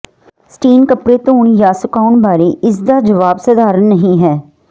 Stein ਕੱਪੜੇ ਧੋਣ ਜਾਂ ਸੁਕਾਉਣ ਬਾਰੇ ਇਸ ਦਾ ਜਵਾਬ ਸਧਾਰਨ ਨਹੀਂ ਹੈ